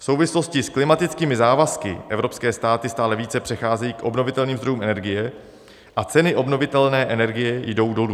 V souvislosti s klimatickými závazky evropské státy stále více přecházejí k obnovitelným zdrojům energie a ceny obnovitelné energie jdou dolů.